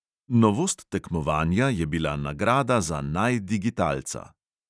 Novost tekmovanja je bila nagrada za naj digitalca.